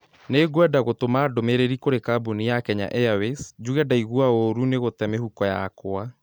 Nĩngwenda gũtũma ndũmĩrĩri kũrĩ kambuni ya Kenya airways njuge ndaigua ũũru nĩ gũte mĩhuko yakwa